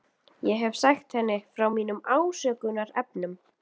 Ég hef sagt henni frá mínum ásökunarefnum.